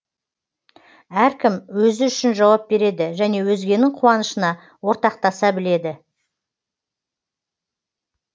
әркім өзі үшін жауап береді және өзгенің қуанышына ортақтаса біледі